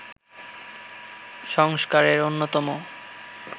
সংস্কারের অন্যতম